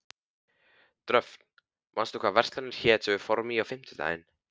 Dröfn, manstu hvað verslunin hét sem við fórum í á fimmtudaginn?